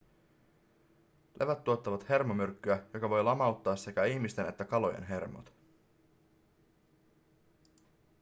levät tuottavat hermomyrkkyä joka voi lamauttaa sekä ihmisten että kalojen hermot